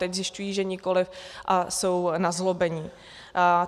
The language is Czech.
Teď zjišťují, že nikoli, a jsou nazlobení.